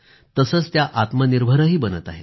तसेच त्या आत्मनिर्भर बनत आहेत